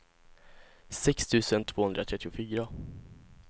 sex tusen tvåhundratrettiofyra